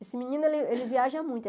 Esse menino, ele ele viaja muito